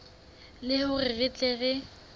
le hore re tle re